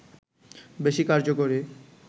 বেশি কার্যকরী